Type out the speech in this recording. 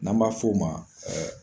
N'an b'a f'o ma